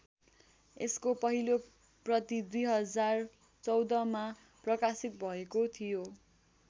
यसको पहिलो प्रति २०१४मा प्रकाशित भएको थियो।